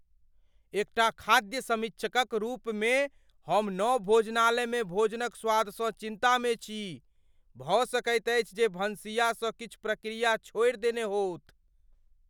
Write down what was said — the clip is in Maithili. एकटा खाद्य समीक्षक क रूप मे हम नव भोजनालयमे भोजनक स्वादसँ चिन्ता मे छी भऽ सकैत अछि जे भनसिया सँ किछु प्रक्रिया छोड़ि देने होथु।